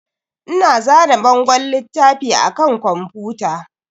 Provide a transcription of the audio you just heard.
Ina zane bangon littafi a kan kwamfuta.